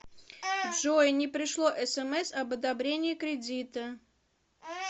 джой не пришло смс об одобрении кредита